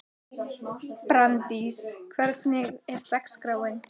Brandís, hvernig er dagskráin?